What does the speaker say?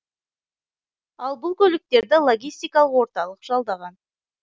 ал бұл көліктерді логистикалық орталық жалдаған